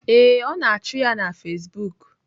Ee, ọ na-achụ ya na Facebook